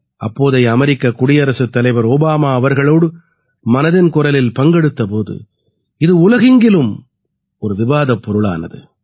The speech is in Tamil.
அப்போதைய அமெரிக்க குடியரசுத் தலைவர் ஓபாமா அவர்களோடு மனதின் குரலில் பங்கெடுத்த போது இது உலகெங்கிலும் ஒரு விவாதப் பொருளானது